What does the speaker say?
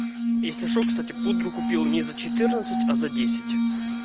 если что кстати пудру купил не за четырнадцать а за десять